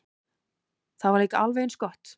Það var líka alveg eins gott.